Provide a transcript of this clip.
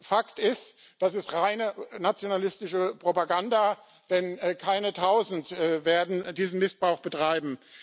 Fakt ist, das ist reine nationalistische Propaganda, denn keine Tausend werden diesen Missbrauch betreiben.